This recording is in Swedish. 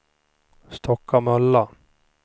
Stockamöllan